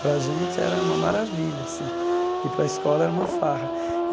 Para a gente era uma maravilha assim, e para a escola era uma farra.